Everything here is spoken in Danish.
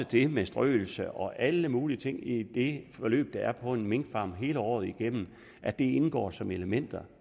det med strøelse og alle mulige ting i det forløb der er på en minkfarm hele året igennem indgår som elementer